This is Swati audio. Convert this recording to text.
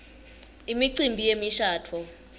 imicimbi yemishabuo